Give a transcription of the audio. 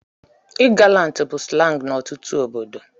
I gallant bụ slangs n'ọtụtụ obodo